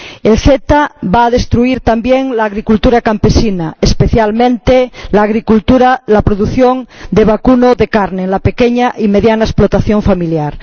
El CETA va a destruir también la agricultura campesina, especialmente la producción de vacuno de carne en la pequeña y mediana explotación familiar.